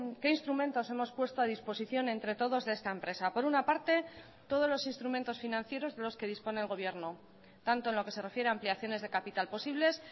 qué instrumentos hemos puesto a disposición entre todos de esta empresa por una parte todos los instrumentos financieros de los que dispone el gobierno tanto en lo que se refiere a ampliaciones de capital posibles